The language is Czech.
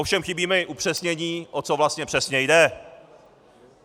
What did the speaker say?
Ovšem chybí mi zpřesnění, o co vlastně přesně jde.